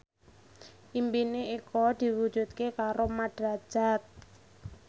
impine Eko diwujudke karo Mat Drajat